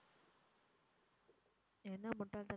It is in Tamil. என்னா முட்டாள் தனமா?